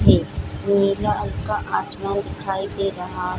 है नीला हलका आसमान दिखाई दे रहा --